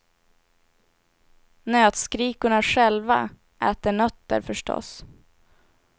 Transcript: Nötskrikorna själva äter nötter, förstås.